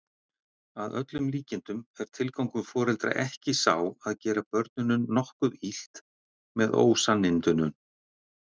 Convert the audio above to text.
Að öllum líkindum er tilgangur foreldra ekki sá að gera börnunum nokkuð illt með ósannindunum.